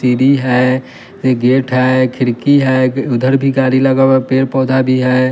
सीढ़ी है यह गेट है खिड़की है उधर भी गाड़ी लगा हुआ हैं पेड़ पौधा भी है।